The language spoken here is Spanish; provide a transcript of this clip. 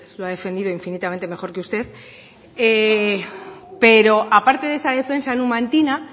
lo ha defendido infinitamente mejor que usted pero aparte de esa defensa numantina